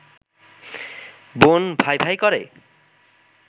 বোন ভাই-ভাই করে